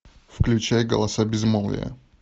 включай голоса безмолвия